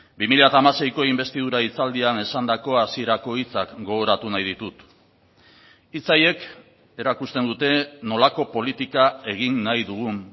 bi mila hamaseiko inbestidura hitzaldian esandako hasierako hitzak gogoratu nahi ditut hitz haiek erakusten dute nolako politika egin nahi dugun